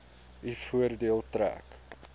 u voordeel trek